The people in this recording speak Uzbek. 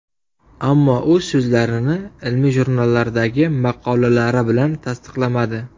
Ammo u so‘zlarini ilmiy jurnallardagi maqolalari bilan tasdiqlamadi.